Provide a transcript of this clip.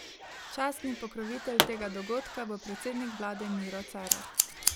Častni pokrovitelj tega dogodka bo predsednik vlade Miro Cerar.